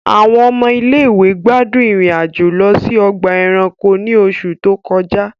Àwọn ọmọ ilé ìwé gbádùn ìrìn-àjò lọ sí ọgbà ẹranko ní oṣù tó kọjá